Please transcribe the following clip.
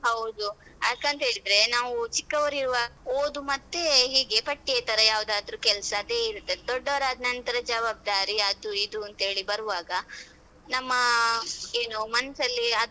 ಹೌದು ಯಾಕಂತ ಹೇಳಿದ್ರೆ ನಾವು ಚಿಕ್ಕವರು ಇರುವಾಗ ಓದು ಮತ್ತೆ ಹೀಗೆ ಪಠ್ಯೇತರ ಯಾವ್ದಾದ್ರು ಕೆಲ್ಸ ಅದೇ ಇರುತ್ತೆ ದೊಡ್ಡವರಾದ್ನನ್ತ್ರ ಜವಾಬ್ದಾರಿ ಅದು ಇದು ಅಂತ ಹೇಳಿ ಬರುವಾಗ ನಮ್ಮ ಏನು ಮನ್ಸಲ್ಲಿ ಅದೆಲ್ಲ